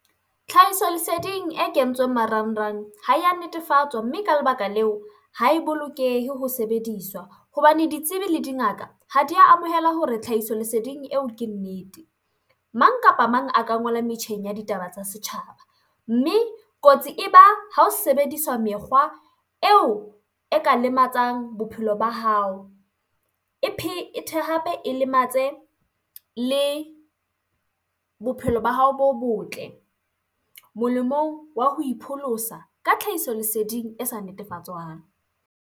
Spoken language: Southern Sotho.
Tlhahisoleseding e kentsweng marangrang ho ya netefatswa, mme ka lebaka leo, ho e bolokehe ho sebediswa hobane ditsibi le dingaka ha di ya amohela hore tlhahisoleseding eo ke nnete. Mang kapa mang a ka ngola metjheng ya ditaba tsa setjhaba mme kotsi e ba ha ho sebediswa mekgwa eo e ka lematsang bophelo ba hao e phethe hape e lematse le bophelo ba hao bo botle molemong wa ho ipholosa ka tlhahisoleseding e sa netefatswang.